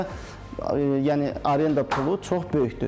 Bakıda yəni arenda pulu çox böyükdür.